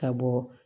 Ka bɔ